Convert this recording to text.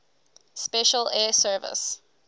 special air service